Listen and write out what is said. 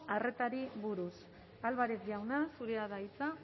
arretari buruz álvarez jauna zurea da hitza